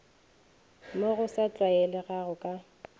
mo go sa tlwaelegago ka